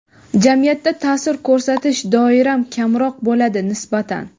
jamiyatda taʼsir ko‘rsatish doiram kamroq bo‘ladi nisbatan.